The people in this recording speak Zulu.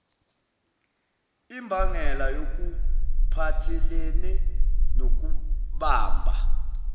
imbangela yokuphathelene nokubamba